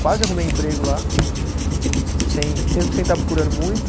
Quase arrumei emprego lá, sem mesmo sem estar procurando muito.